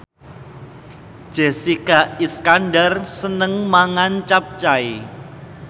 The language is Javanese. Jessica Iskandar seneng mangan capcay